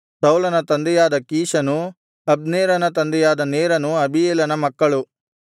ಸೌಲನ ತಂದೆಯಾದ ಕೀಷನೂ ಅಬ್ನೇರನ ತಂದೆಯಾದ ನೇರನೂ ಅಬೀಯೇಲನ ಮಕ್ಕಳು